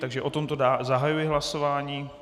Takže o tomto zahajuji hlasování.